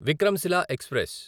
Vikramshila express